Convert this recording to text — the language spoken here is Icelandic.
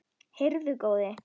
Heyrðu góði!